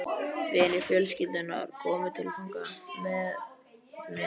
Vinir fjölskyldunnar komu til að fagna með mér.